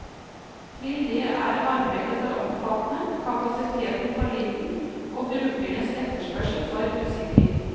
Til det er arbeidet for omfattende, kapasiteten for liten og brukernes etterspørsel for usikker.